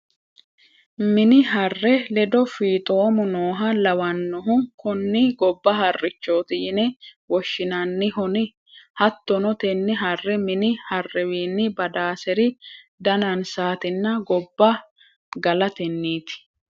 mini harre ledo fiixoomu nooha lawannohu kuni gobba harrichooti yine woshshinannihon, hattono tenne harre mini harrewiinni badaaseri danansaatinna gobba galatenniti.